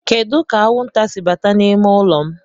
Kedu ka anwụnta si bata n'ime ụlọ m?